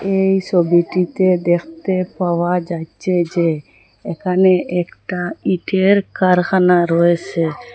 এই সবিটিতে দ্যাখতে পাওয়া যাইচ্ছে যে এখানে একটা ইটের কারখানা রয়েসে।